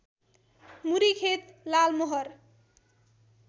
मुरी खेत लालमोहर